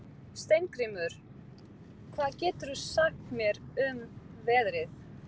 Steingrímur, hvað geturðu sagt mér um veðrið?